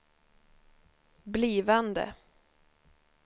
blivande